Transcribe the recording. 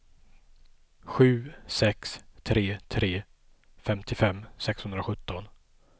sju sex tre tre femtiofem sexhundrasjutton